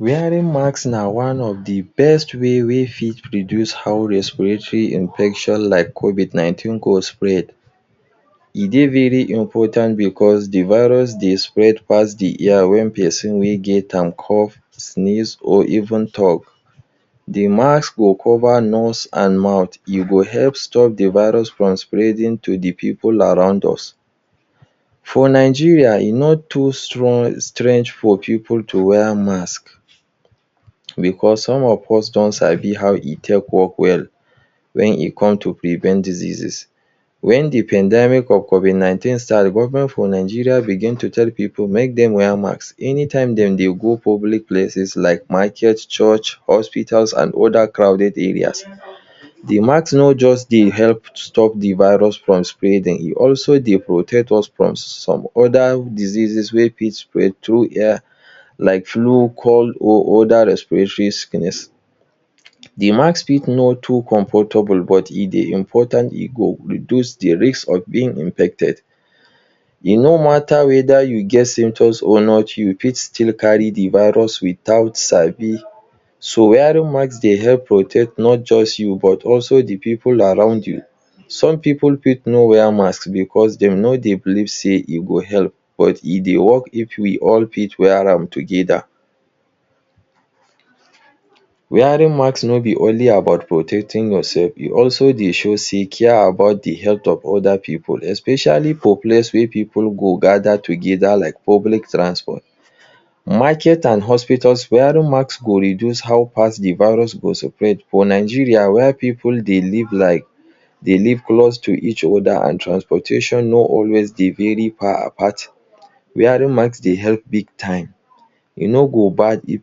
Wearing mask na one of de best way wey fit reduce how respiratory infection like COVID nineteen go spread. e dey very important because de virus dey spread pass de air when person wey get am cough sneeze or even talk, de mask go cover nose and mouth. e go help stop de virus from spreading to de pipu around us. for Nigeria e no too strong, strange for pipu to wear mask because some of us don sabi how e take work well when e come to prevent diseases. when de pandemic of COVID nineteen start, government for Nigeria begin to tell pipu make dem wear mask anytime dem dey go public places like market church, hospitals, and other crowded areas. de mask no just dey help stop de virus from spreading, e also dey protect us from some other diseases wey fit spread through air like flu cold or other respiratory sickness. de mask fit no too comfortable but e dey important e go reduce de risk of being infected. e no matter whether you get symptoms or not, you fit still carry de virus without sabi. So, wearing mask dey help protect not just you but also de pipu around you, some pipu fit no wear mask because dem no dey believe sey e go help but e dey work. if we all fit wear am together. wearing mask no be only about protecting yourself, e also dey show sey care about de health of other pipu especially for places wey pipu go gather together like public transport market and hospitals wearing mask, go reduce how fast de virus go spread for Nigeria were pipu dey live like dey live close to each other and transportation no always dey dey very far apart. wearing mask dey help big time. e no go bad if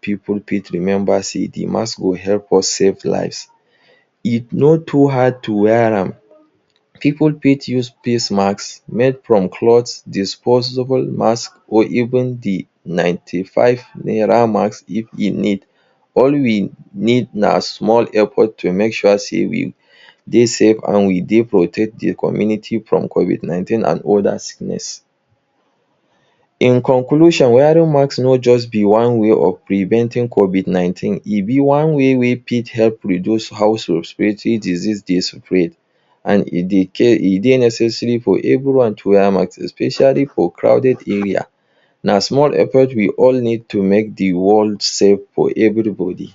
pipu fit remember sey de masks go help us save lives. e no too hard to wear am pipu fit use face mask made from clothes, disposable mask or even de ninety five naira mask if e need, all we need na small effort to make sure sey we dey safe and we dey protect de community from COVID nineteen and other sickness. in conclusion wearing mask no just be one way of preventing COVID nineteen e be one way wey fit help reduce house respiratory disease dey spread and e dey care. e dey necessary for everyone to wear am especially for crowded areas. na small effort we all need to make de world safe for everybody.